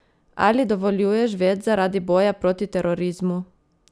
Ali dovoljuješ več zaradi boja proti terorizmu?